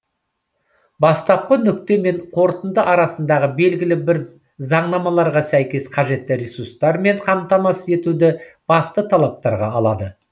бастапқы нүкте мен қорытынды арасындағы белгілі бір заңнамаларға сәйкес қажетті ресурстармен қамтамасыз етуді басты талаптарға алады